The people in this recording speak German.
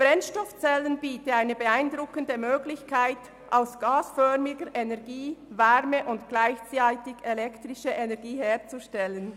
Brennstoffzellen bieten eine beeindruckende Möglichkeit, aus gasförmiger Energie Wärme- und gleichzeitig elektrische Energie herzustellen.